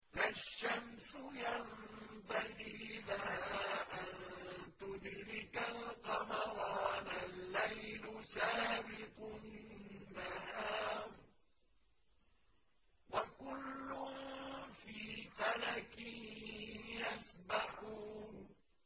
لَا الشَّمْسُ يَنبَغِي لَهَا أَن تُدْرِكَ الْقَمَرَ وَلَا اللَّيْلُ سَابِقُ النَّهَارِ ۚ وَكُلٌّ فِي فَلَكٍ يَسْبَحُونَ